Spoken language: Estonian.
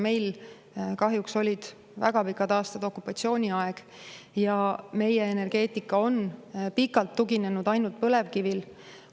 Meil kahjuks olid väga pikad aastad okupatsiooniaeg ja meie energeetika on pikalt tuginenud ainult põlevkivile.